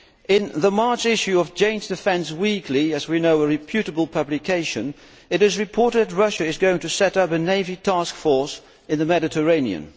In the March issue of Jane's Defence Weekly as we know a reputable publication it is reported that Russia is going to set up a navy taskforce in the Mediterranean.